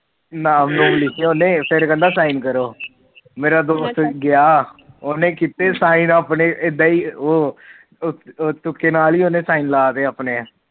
ਨਾਮ ਨੂਮ ਲਿਖੇ ਉਹਨੇ ਫਿਰ ਕਹਿੰਦਾ ਸਾਈਨ ਕਰੋ ਮੇਰਾ ਦੋਸਤ ਗਿਆ ਉਹਨੇ ਕਿਤੈ ਸਾਈਨ ਆਪਣੇ ਉਹ ਤੁਕੇ ਨਾਲ ਹੀ ਸਾਈਨ ਲਾਤੇ ਆਪਣੇ